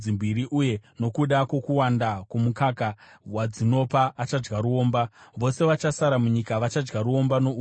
Uye nokuda kwokuwanda kwomukaka wadzinopa, achadya ruomba. Vose vachasara munyika vachadya ruomba nouchi.